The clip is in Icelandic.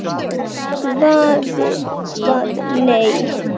Svarið var nei.